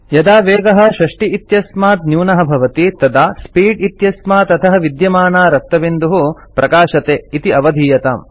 यदा वेगः 60 इत्यस्मात् न्यूनः भवति तदा स्पीड् इत्यस्मात् अधः विद्यमाना रक्तबिन्दुः प्रकाशते इति अवधीयताम्